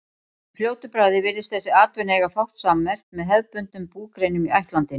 Í fljótu bragði virðist þessi atvinna eiga fátt sammerkt með hefðbundnum búgreinum í ættlandinu.